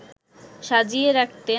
সাজিয়ে রাখতে